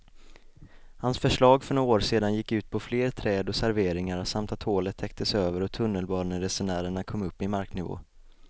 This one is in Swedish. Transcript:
Hans förslag för några år sedan gick ut på fler träd och serveringar samt att hålet täcktes över och tunnelbaneresenärerna kom upp i marknivå.